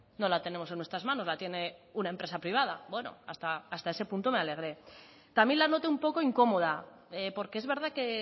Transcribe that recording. no la tenemos en nuestras manos la tiene una empresa privada bueno hasta ese punto me alegré también la noté un poco incómoda porque es verdad que